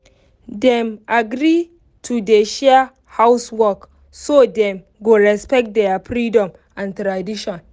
dem agree to dey share housework so dem go respect their freedom and tradition